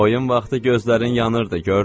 Oyun vaxtı gözlərin yanırdı, gördüm.